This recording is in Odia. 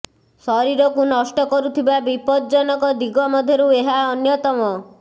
ଶରୀରକୁ ନଷ୍ଟ କରୁଥିବା ବିପଜ୍ଜନକ ଦିଗ ମଧ୍ୟରୁ ଏହା ଅନ୍ୟତମ